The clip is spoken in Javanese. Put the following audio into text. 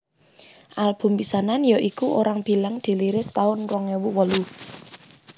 Album pisanan ya iku Orang Bilang dirilis taun rong ewu wolu